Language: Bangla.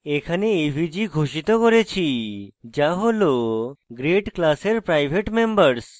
এখানে avg ঘোষিত করেছি যা হল grade class private মেম্বরস